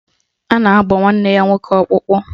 A ga-agba nwanne ya nwoke ọkpụkpụ.